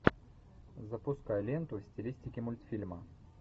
запускай ленту в стилистике мультфильма